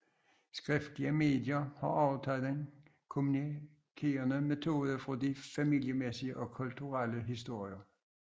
Skriftlige medier har overtaget den kommunikerende metode fra de familiemæssige og kulturelle historier